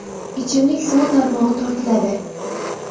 Ichimlik suvi tarmog‘i tortiladi.